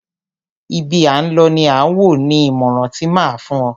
Ibi à ń lọ ni à wò, ni ìmọràn ti máa a fún o.